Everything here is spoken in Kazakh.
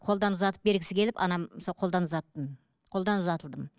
қолдан ұзатып бергісі келіп анам сол қолдан ұзаттым қолдан ұзатылдым